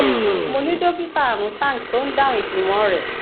mo ni dokita arun tank tó ń dáhùn ìjùmọ rẹ